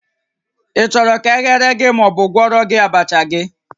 Ị chọrọ ka e ghere gị ma ọ bụ gwọọrọ gị abacha gị?